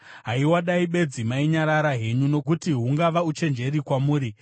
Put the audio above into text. Haiwa, dai bedzi mainyarara henyu! Nokuti hungava uchenjeri kwamuri.